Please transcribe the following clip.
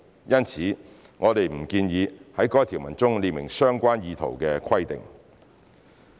因此，我們不建議在該條文中列明相關意圖的規定。